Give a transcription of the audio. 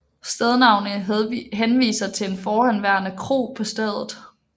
Stednavnet henviser til en forhenværende kro på stedet